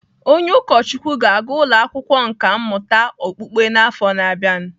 Onye ụkọchukwu ga-aga ụlọ akwụkwọ nkà mmụta okpukpe n'afọ na-abịa.